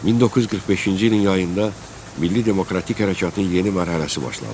1945-ci ilin yayında Milli demokratik hərəkatın yeni mərhələsi başlandı.